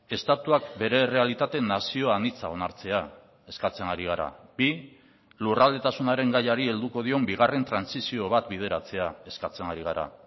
estatuak bere errealitate nazio anitza onartzea eskatzen ari gara bi lurraldetasunaren gaiari helduko dion bigarren trantsizio bat bideratzea eskatzen ari gara